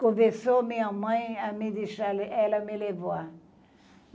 Começou minha mãe a me deixar le, ela me levar.